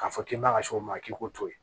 K'a fɔ k'i b'a kɛ cogo min na k'i k'o to yen